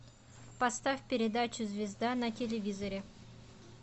поставь передачу звезда на телевизоре